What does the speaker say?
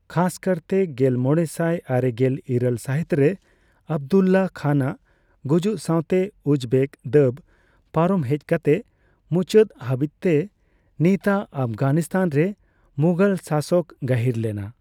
ᱠᱷᱟᱥᱠᱟᱨᱛᱮ ᱜᱮᱞᱢᱚᱲᱮᱥᱟᱭ ᱟᱨᱮᱜᱮᱞ ᱤᱨᱟᱹᱞ ᱥᱟᱹᱦᱤᱛᱨᱮ ᱟᱵᱽᱫᱩᱞᱞᱟᱦ ᱠᱷᱟᱱᱟᱜ ᱜᱩᱡᱩᱜ ᱥᱟᱣᱛᱮ ᱩᱡᱽᱵᱮᱠ ᱫᱟᱹᱵᱽ ᱯᱟᱨᱚᱢ ᱦᱮᱡᱠᱟᱛᱮ, ᱢᱩᱪᱟᱹᱫ ᱦᱟᱹᱵᱤᱡᱛᱮ ᱱᱤᱛᱟᱜ ᱟᱯᱷᱜᱟᱱᱤᱥᱛᱷᱟᱱ ᱨᱮ ᱢᱩᱜᱚᱞ ᱥᱟᱥᱚᱠ ᱜᱟᱹᱦᱤᱨᱞᱮᱱᱟ ᱾